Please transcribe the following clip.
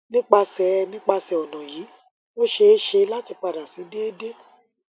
nipasẹ nipasẹ ọna yii o ṣee ṣe lati pada si deede